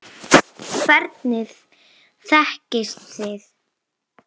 Hvernig þekkist þið?